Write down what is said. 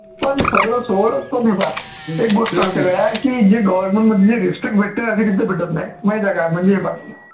पण सगळं सोडं पण हे पाहा एक गोष्ट जे government मध्ये जी respect भेटेते ना ती respect भेटतं नाही माहित आहे का म्हणजे हे पाहा